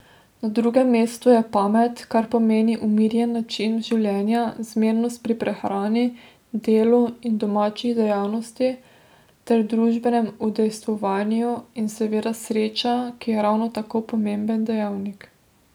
Na drugem mestu je pamet, kar pomeni umirjen način življenja, zmernost pri prehrani, delu in domačih dejavnostih ter družbenem udejstvovanju, in seveda sreča, ki je ravno tako pomemben dejavnik.